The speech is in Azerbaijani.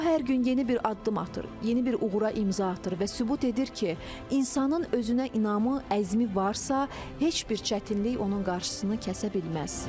O hər gün yeni bir addım atır, yeni bir uğura imza atır və sübut edir ki, insanın özünə inamı, əzmi varsa, heç bir çətinlik onun qarşısını kəsə bilməz.